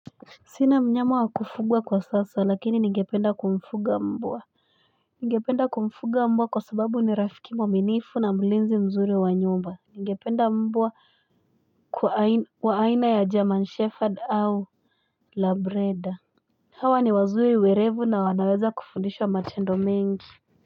Sina mnyama wa kufugwa kwa sasa, lakini ningependa kumfuga mbwa. Ningependa kumfuga mbwa kwa sababu ni rafiki mwaminifu na mlinzi mzuri wa nyumba. Ningependa mbwa kwa aina ya German Shepherd au labreda. Hawa ni wazuri werevu na wanaweza kufudishwa matendo mengi.